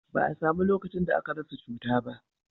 ba a samu lokacin da aka rasa cuta ba